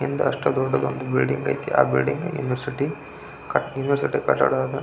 ಹಿಂದೆ ಅಷ್ಟು ದೊಡ್ಡ ಬಿಲ್ಡಿಂಗ್ ಐತಿ ಆ ಬಿಲ್ಡಿಂಗ್ ಯೂನಿವರ್ಸಿಟಿ ಯೂನಿವರ್ಸಿಟಿ ಕಟ್ಟಡ --